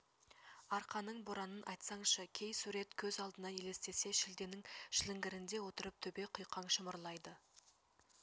арқаның боранын айтсаңшы кей сурет көз алдына елестесе шілденің шіліңгірінде отырып төбе құйқаң шымырлайды